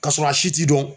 Ka sɔrɔ a si t'i dɔn